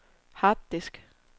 harddisk